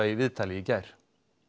í viðtali í gær